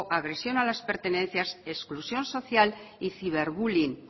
agresión a las pertenencias exclusión social y ciberbullying